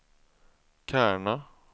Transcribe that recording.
Kärna